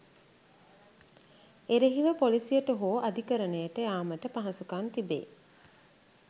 එරෙහිව පොලිසියට හෝ අධිකරණයට යාමට පහසුකම් තිබේ.